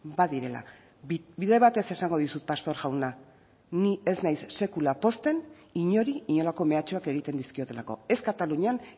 badirela bide batez esango dizut pastor jauna ni ez naiz sekula pozten inori inolako mehatxuak egiten dizkiotelako ez katalunian